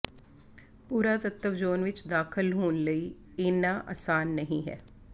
ਪੁਰਾਤੱਤਵ ਜ਼ੋਨ ਵਿਚ ਦਾਖ਼ਲ ਹੋਣ ਲਈ ਏਨਾ ਆਸਾਨ ਨਹੀਂ ਹੈ